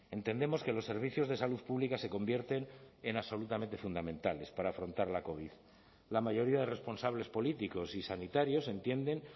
entendemos que los servicios de salud pública se convierten en absolutamente fundamentales para afrontar la covid la mayoría de responsables políticos y sanitarios entienden